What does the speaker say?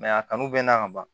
a kanu bɛ n na ka ban